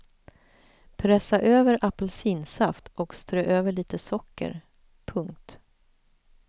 Pressa över apelsinsaft och strö över lite socker. punkt